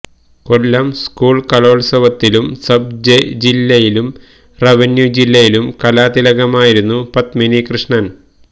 കൊല്ലം school കലോത്സവത്തിലും sub ജില്ലയിലും revenue ജില്ലയിലും കലാതിലകമായിരുന്നു പദ്മിനി കൃഷ്ണന്